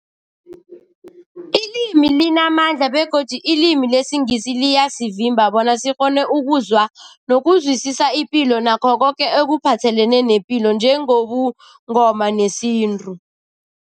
Ilimi limamandla begodu ilimi lesiNgisi liyasivimba bona sikghone ukuzwa nokuzwisisa ipilo nakho koke ekuphathelene nepilo njengobuNgoma nesintu.